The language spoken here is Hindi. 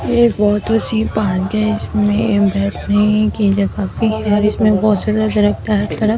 ये बहुत वाटर सी पार्क है इसमें बैठने की जग की है इसमें बहुत ज्यादा दरख्त है हर तरफ --